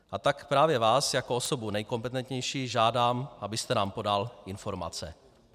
A tak právě vás jako osobu nejkompetentnější žádám, abyste nám podal informace.